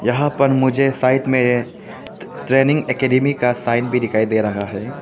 यहां पर मुझे साइड में ट्रेनिंग एकेडमी का साइन भी दिखाई दे रहा है।